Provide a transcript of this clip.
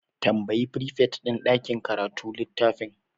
Tambayi frifet din ɗakin karatu littafin.